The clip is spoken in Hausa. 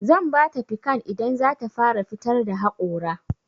Zan bata pikan idan zata fara fitar da haƙora.